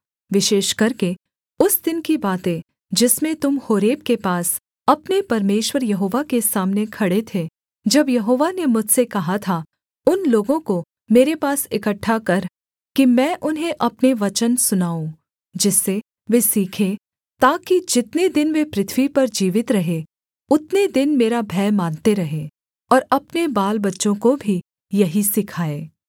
विशेष करके उस दिन की बातें जिसमें तुम होरेब के पास अपने परमेश्वर यहोवा के सामने खड़े थे जब यहोवा ने मुझसे कहा था उन लोगों को मेरे पास इकट्ठा कर कि मैं उन्हें अपने वचन सुनाऊँ जिससे वे सीखें ताकि जितने दिन वे पृथ्वी पर जीवित रहें उतने दिन मेरा भय मानते रहें और अपने बालबच्चों को भी यही सिखाएँ